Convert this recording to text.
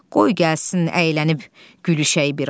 Qoy gəlsin əylənib gülüşək biraz.